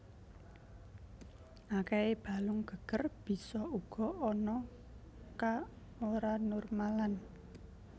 Akèhé balung geger bisa uga ana ka oranormal an